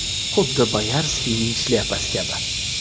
Xuddi Boyarskiyning shlyapasi kabi.